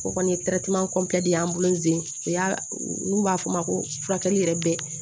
O kɔni ye ye an bolo zen o y'a n'u b'a f'o ma ko furakɛli yɛrɛ bɛ